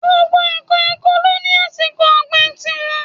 Gbogbo ǹkan oko ló ní àsìkò ọ̀gbìn ti wọn.